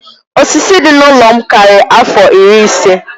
Osisi dị n'ụlọ m karịrị afọ iri ise.